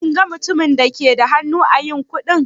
Kin ga mutumin da ke da hannu ã yin kuɗi?